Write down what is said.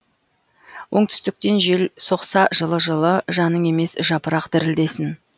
оңтүстіктен жел соқса жылы жылы жаның емес жапырақ дірілдесін